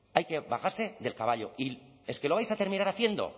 hay que bajarse del caballo y es que lo vais a terminar haciendo